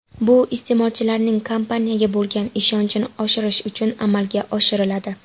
Bu iste’molchilarning kompaniyaga bo‘lgan ishonchini oshirish uchun amalga oshiriladi.